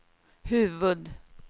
huvud-